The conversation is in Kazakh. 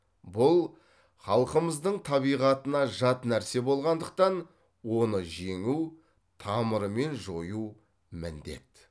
бұл халқымыздың табиғатына жат нәрсе болғандықтан оны жеңу тамырымен жою міндет